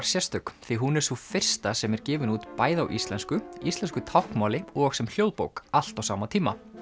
sérstök því hún er sú fyrsta sem er gefin út bæði á íslensku íslensku táknmáli og sem hljóðbók allt á sama tíma